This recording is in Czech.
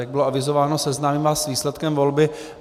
Jak bylo avizováno, seznámím vás s výsledkem volby.